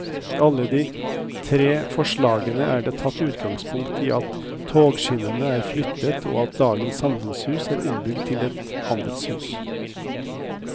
I alle de tre forslagene er det tatt utgangspunkt i at togskinnene er flyttet og at dagens samfunnshus er ombygget til et handelshus.